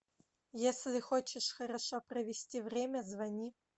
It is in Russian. если хочешь хорошо провести время звони